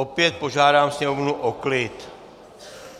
Opět požádám sněmovnu o klid.